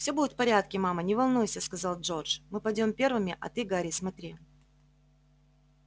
все будет в порядке мама не волнуйся сказал джордж мы пойдём первыми а ты гарри смотри